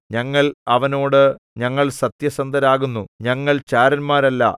ഞങ്ങൾ അവനോട് ഞങ്ങൾ സത്യസന്ധരാകുന്നു ഞങ്ങൾ ചാരന്മാരല്ല